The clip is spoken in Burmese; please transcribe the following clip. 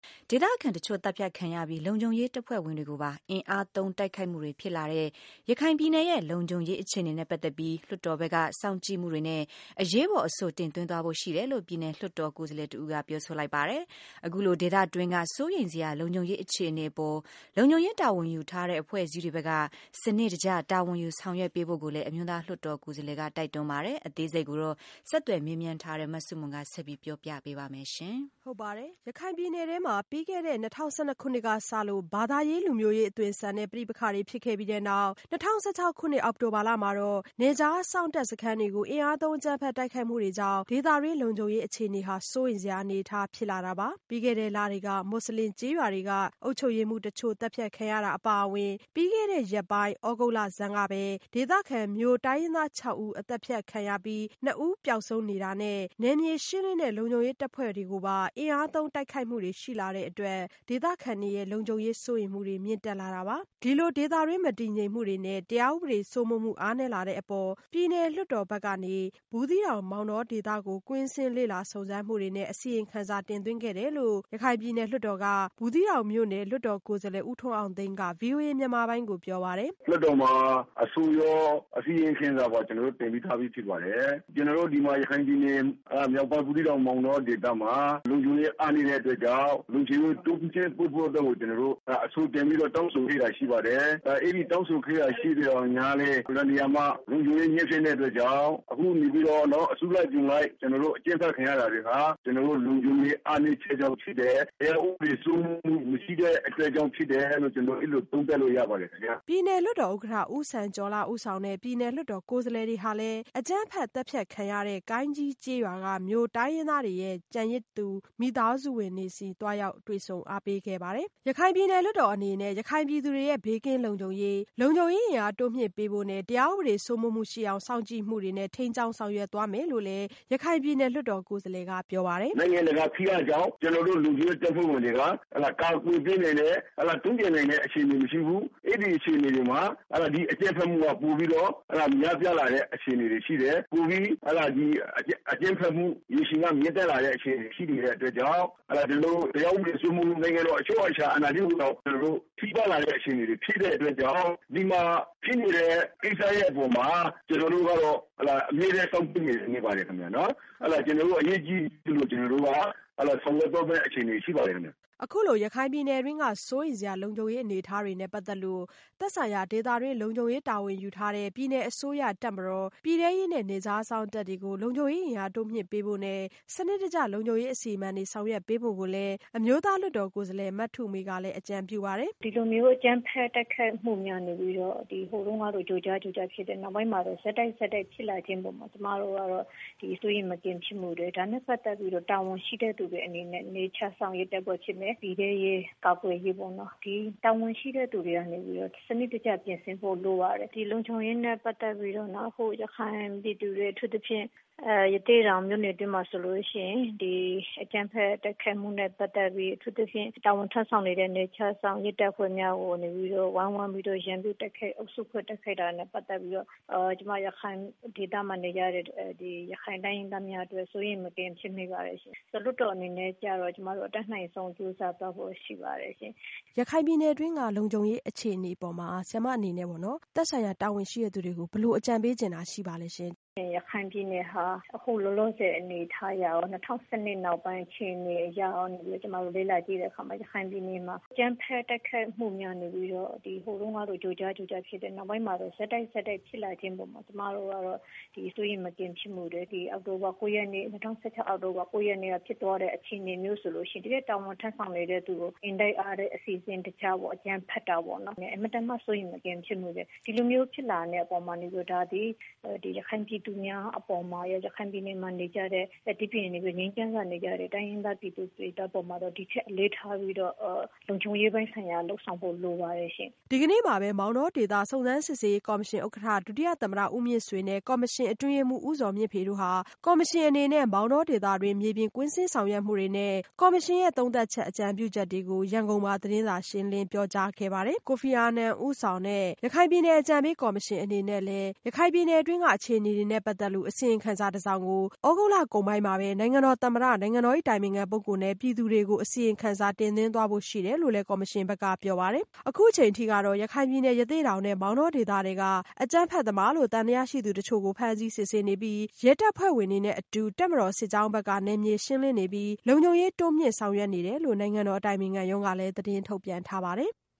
ဒေသခံအချို့သတ်ဖြတ်ခံရပြီး လုံခြုံရေးတပ်ဖွဲ့ဝင်တွေကိုပါ အင်အားသုံးတိုက်ခိုက်မှုတွေဖြစ်လာတဲ့ ရခိုင်ပြည်နယ်ရဲ့လုံခြုံရေး အခြေအနေနဲ့ပတ်သက်ပြီး လွှတ်တော်ဘက်က စောင့်ကြည့်မှုတွေနဲ့ အရေးပေါ်အဆိုတင်သွင်းသွားဖို့ရှိတယ်လို့ ပြည်နယ်လွှတ်တော် ကိုယ်စားလှယ်တဦးကပြောဆိုလိုက်ပါတယ်။ အခုလိုဒေသတွင်းက စိုးရိမ်စရာ လုံခြုံရေးအခြေအနေအပေါ် လုံခြုံရေးတာဝန်ယူထားတဲ့ အဖွဲ့အစည်းတွေဘက်က စနစ်တကျတာဝန်ယူဆောင်ရွက်ပေးဖို့ကိုလည်း အမျိုးသားလွှတ်တော်ကိုယ်စားလှယ်က တိုက်တွန်းပါတယ်။ အသေးစိတ် မဆုမွန် ဆက်ပြောပြပါမယ်။ ရခိုင်ပြည်နယ်ထဲမှာ၂၀၁၂ခုနှစ်ကစလို့ ဘာသာရေး၊ လူမျိုးရေးအသွင်ဆန်တဲ့ ပဋိပက္ခတွေဖြစ်ခဲ့ပြီးနောက် ၂၀၁၆ အောက်တိုဘာမှာ နယ်ခြားစောင့်တပ်စခန်းတွေကို အင်အားသုံးအကြမ်းဖက်တိုက်ခိုက်မှုတွေကြောင့် ဒေသတွင်း လုံခြုံရေးအခြေအနေဟာ စိုးရိမ်စရာအနေအထားဖြစ်လာတာပါ။ ပြီးခဲ့တဲ့လတွေက မူဆလင်ကျေးရွာတွေက ရပ်ကွက်အုပ်ချုပ်ရေးမှူးတချို့သတ်ဖြတ်ခံရတာအပါအဝင် ပြီးခဲ့တဲ့ရက်ပိုင်း သြဂုတ်လဆန်းကပဲ ဒေသခံမြို့တိုင်းရင်းသားခြောက်ဦးအသတ်ဖြတ်ခံရပြီးနှစ်ဦးပျောက်ဆုံးနေတာနဲ့ နယ်မြေရှင်းလင်းတဲ့ လုံခြုံရေးတပ်ဖွဲ့တွေကိုပါ အင်အားသုံးတိုက်ခိုက်မှုတွေရှိလာတဲ့အတွက် ဒေသခံတွေရဲ့ လုံခြုံရေးစိုးရိမ်မှုတွေ မြင့်တက်လာတာပါ။ ဒီလိုဒေသတွင်းမတည်ငြိမ်မှုတွေနဲ့ တရားဥပဒေစိုးမိုးမှု အားနည်းလာတဲ့အပေါ် ပြည်နယ်လွှတ်တော်ဘက်ကနေ ဘူးသီးတောင်၊ မောင်တောဒေသကို ကွင်းဆင်းလေ့လာစုံစမ်းမှုတွေနဲ့ အစီရင်ခံစာတင်သွင်းခဲ့တယ်လို့ ရခိုင်ပြည်နယ်လွှတ်တော် ဘူးသီးတောင်မြို့နယ် လွှတ်တော်ကိုယ်စားလှယ်ဦးထွန်းအောင်သိန်းက ဗွီအိုအေမြန်မာပိုင်းကိုပြောပါတယ်။ “လွှတ်တော်မှာ အဆိုရော၊ အစီရင်ခံစာပါကျနော်တို့ တင်ပြပြီးသားဖြစ်ပါတယ်။ ကျနော်တို့ဒီမှာ ရခိုင်ပြည်နယ်မြောက်ပိုင်း ဘူးသီးတောင်ဒေသမှာ လုံခြုံရေးအားနည်းတဲ့အတွက်ကြောင့် လုံခြုံရေးတိုးမြင့်ဖို့အတွက်ကို ကျနော်တို့ အဆိုတင်ပြီးတောင်းဆိုခဲ့တာရှိပါတယ်။ အဲဒီတောင်းဆိုခဲ့တာ ရှိသော်လည်း၊ အလွန်တရာမှ လုံခြုံရေးညံ့တဲ့အတွက်ကြောင့် အခုကနေ အကြမ်းဖက်ခံရတာတွေဟာ ကျနော်တို့ လုံခြုံရေးအားနည်းတဲ့အတွက်ကြောင့်ဖြစ်တယ်။ တရားဥပဒေ စိုးမိုးမှုမရှိတဲ့အတွက်ကြောင့်ဖြစ်တယ်လို့ ကျနော်တို့ အဲလိုသုံးသပ်လို့ရပါတယ်။” ပြည်နယ်လွှတ်တော်ဥက္ကဋ္ဌ ဦးစံကျော်လှ ဦးဆောင်တဲ့ ပြည်နယ်လွှတ်တော်ကိုယ်စားလှယ် တွေဟာလည်း အကြမ်းဖက်သတ်ဖြတ် ခံရသည့် ကိုင်းကြီးကျေးရွာက မြိုတိုင်းရင်းသားတွေရဲ့ ကျန်ရစ်တဲ့မိသားစုဝင်တွေဆီ သွားရောက်တွေ့ဆုံအားပေးခဲ့ပါတယ်။ ရခိုင်ပြည်နယ်လွှတ်တော်အနေနဲ့ ရခိုင်ပြည်သူတွေရဲ့ ဘေးကင်းလုံခြုံရေး၊ လုံခြုံရေးအင်အားတိုးမြင့်ပေးဖို့နဲ့ တရားဥပဒေစိုးမိုးမှုရှိအောင် စောင့်ကြည့်မှုတွေနဲ့ ထိန်းကျောင်းဆောင်ရွက်သွားမယ်လို့လည်း ရခိုင်ပြည်နယ်လွှတ်တော်ကိုယ်စားလှယ်ကပြောပါတယ်။ “နိုင်ငံတကာဖိအားကြောင့် ကျနော်တို့ လုံခြုံရေးတပ်ဖွဲ့ဝင်တွေက ကာကွယ်ပေးနိုင်ဖို့၊ တုံ့ပြန်နိုင်ဖို့ အခြေအနေမရှိဘူး အဲဒီအခြေအနေတွေမှာ ဒီအကြမ်းဖက်မှုက ပိုပြီးတော့ များပြားလာတဲ့အခြေအနေတွေရှိတယ်။ ပိုပြီး အကြမ်းဖက်မှုကမြင့်တက်လာတဲ့အခြေအနေတွေရှိတဲ့အတွက်ကြောင့် တရားဥပဒေစိုးမိုးမှု ၊ နိုင်ငံတော်အချုပ်အခြာကို ထိပါးလာတဲ့အခြေအနေတွေဖြစ်တဲ့အတွက်ကြောင့် ဒီမှာဖြစ်နေတဲ့ ကိစ္စရပ်ပေါ်မှာ ကျနော်တို့ကတော့ အမြဲတမ်းစောင့်ကြည့်နေပါတယ်ခင်ဗျ။ ကျနော်တို့ အရေးကြီးတဲ့ကိစ္စအဖြစ် ဆောင်ရွက်သွားမယ့်အခြေအနေရှိပါတယ်ခင်ဗျ။” အခုလို ရခိုင်ပြည်နယ်တွင်းက စိုးရိမ်စရာလုံခြုံရေးအနေအထားနဲ့ပတ်သက်လို့ သက်ဆိုင်ရာဒေသတွင်း လုံခြုံရေးတာဝန်ယူထားတဲ့ ပြည်နယ်အစိုးရ၊ တပ်မတော်၊ ပြည်ထဲရေးနဲ့ နယ်ခြားစောင့်တပ်တွေကို လုံခြုံရေးအင်အားတိုးမြင့်ပေးဖို့နဲ့ စနစ်တကျလုံခြုံရေးအစီအမံတွေ ဆောင်ရွက်ပေးဖို့ကိုလည်း အမျိုးသားလွှတ်တော်ကိုယ်စားလှယ် မထုမေကလည်း အကြံပြုပါတယ်။ “ဒီလိုမျိုး အကြမ်းဖက်တိုက်ခိုက်မှုတွေက ဟိုတုန်းကဆိုရင် ကြိုကြားကြိုကြားဖြစ်တယ်။ နောက်ပိုင်းမှာဆိုရင် ဆက်တိုက်ဆက်တိုက်ဖြစ်လာခဲ့တဲ့အပေါ်မှာ ကျမတို့က စိုးရိမ်မကင်းဖြစ်မိတယ်။ ဒါနဲ့ ပတ်သက်ပြီးတော့ တာဝန်ရှိတဲ့သူတွေအနေနဲ့ နယ်ခြားစောင့်ရေးတပ်ဖွဲ့ ၊ ပြည်ထဲရေး ကာကွယ်ရေးပေါ့။ ဒီတာဝန်ရှိတဲ့သူတွေကနေပြီးတော့ စနစ်တကျ ပြင်ဆင်ဖို့ လိုပါတယ်။ ဒီလုံခြုံရေးနဲ့ ပတ်သက်ပြီးတော့ ရခိုင်ပြည်သူတွေ အထူးသဖြင့် ရသေ့တောင်မြို့နယ်အတွင်းမှာ ဆိုရင် ဒီအကြမ်းဖက်တိုက်ခိုက်မှုနဲ့ ပတ်သက်ပြီး အထူးသဖြင့် တာဝန်ထမ်းဆောင်နေတဲ့ နယ်ခြားစောင့်ရဲတပ်ဖွဲ့များကနေပြီးတော့ ဝိုင်းဝန်းတိုက်ခိုက်တာနဲ့ ပတ်သက်ပြီးတော့ ရခိုင်ဒေသမှာနေရတဲ့ ရခိုင်တိုင်းရင်းသားများအတွက် စိုးရိမ်မကင်းဖြစ်မိပါတယ်။ လွှတ်တော်အနေနဲ့ ကျမတို့ အတတ်နိုင်ဆုံးကြိုးစားသွားဖို့ရှိပါတယ်။ မေး။ ။ ရခိုင်ပြည်နယ်အတွင်းက လုံခြုံရေးအခြေအနေတွေပေါ်မှာ ဆရာမအနေနဲ့ပေါ့နော် သက်ဆိုင်ရာတာဝန်ရှိတဲ့သူတွေကို ဘယ်လိုအကြံပေးချင်တာရှိပါသလဲရှင့်။ ဖြေ။ ။ ရခိုင်ပြည်နယ်ဟာ အခုလောလောဆည်အနေအထားအရရော ၂၀၁၂ နောက်ပိုင်းအခြေအနေအရရော ကျမတို့ လေ့လာကြည့်တဲ့အခါမှာ ရခိုင်ပြည်နယ်မှာ အကြမ်းဖက်တိုက်ခိုက်မှုတွေကနေပြီးတော့ ဟိုတုန်းကလို ကြိုကြားကြိုကြားဖြစ်တယ်၊ နောက်ပိုင်းမှာ ဆက်တိုက်ဆက်တိုက်ဖြစ်လာတဲ့အပေါ်မှာ ကျမတို့ ကတော့ စိုးရိမ်မကင်းဖြစ်မိတယ်။ ဒီ ၂၀၁၆ အောက်တိုဘာ ၉ ရက် နေ့ကဖြစ်သွားတဲ့ အခြေအနေမျိုးဆိုရင် တာစန်ထမ်းဆောင်နေတဲ့ သူကို အင်တိုက်အားတိုက်အစီအစဉ်တကျပေါ့နော် အကြမ်းဖက်တာပေါ့နော် အင်မတန်မှ စိုးရိမ်မကင်းဖြစ်မိတယ်။ ဒီလိုမျိုးဖြစ်လာတဲ့အပေါ်မှာ ဒါသည် ရခိုင်ပြည်သူများအပေါ်မှာရော၊ ရခိုင်ပြည်နယ်မှာနေကြတဲ့ ငြိမ်းချမ်းစွာနေကြတဲ့ တိုင်းရင်းသားပြည်သူတွေ အပေါ်မှာ ဒီထက်အလေးထားပြီးတော့ လုံခြုံရေးပိုင်းဆိုင်ရာ လုပ်ဆောင်ဖို့ လိုပါတယ်ရှင့်။” ဒီကနေ့မှာပဲ မောင်တောဒေသစုံစမ်းစစ်ဆေးရေးကော်မရှင် ဥက္ကဋ္ဌ ဒုတိယသမ္မတ ဦးမြင့်ဆွေနဲ့ ကော်မရှင် အတွင်းရေးမှူး ဦးဇော်မြင့်ဖေ တို့က ကော်မရှင်အနေနဲ့ မောင်တောဒေသတွင်းက မြေပြင်ကွင်းဆင်းဆောင်ရွက်မှုတွေနဲ့ ကော်မရှင်ရဲ့ သုံးသပ်ချက်၊ အကြံပြုချက်တွေကို ရန်ကုန်မှာ သတင်းစာရှင်းလင်းပြောကြားခဲ့ပါတယ်။ ကုလသမဂ္ဂအတွင်းရေးမှူးချုပ်ဟောင်း ကိုဖီအာနန်ဦးဆောင်တဲ့ ရခိုင်အကြံပေးကော်မရှင်အနေနဲ့လည်း ရခိုင်ပြည်နယ်တွင်းက အခြေအနေတွေနဲ့ပတ်သက်တဲ့ အစီရင်ခံစာကို သြဂုတ်လကုန်ပိုင်းမှာ နိုင်ငံတော်သမ္မတ၊ နိုင်ငံတော်အတိုင်ပင်ခံနဲ့ ပြည်သူကို အစီရင်ခံစာတင်သွင်းဖို့ရှိတယ်လို့ ကော်မရှင်ဘက်က ပြောပါတယ်။ အခုအချိန်အထိကတော့ ရခိုင်ပြည်နယ် ရသေ့တောင်နဲ့ မောင်တောဒေသထဲက အကြမ်းဖက်သမားလို့ သံသယရှိသူတချို့ကို ဖမ်းဆီးစစ်ဆေးနေပြီး ရဲတပ်ဖွဲ့ဝင်တွေနဲ့အတူ တပ်မတော်စစ်ကြောင်းတွေဘက်က နယ်မြေရှင်းလင်းနေပြီး လုံခြုံရေး တိုးမြင့်ဆောင်ရွက်နေတယ်လို့ နိုင်ငံတော်အတိုင်ပင်ခံရုံးကလည်း သတင်းထုတ်ပြန်ထားပါတယ်။